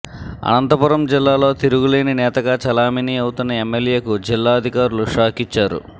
అనంతపురం జిల్లాలో తిరుగులేని నేతగా చలామణీ అవుతున్న ఎమ్మెల్యేకు జిల్లా అధికారులు షాకిచ్చారు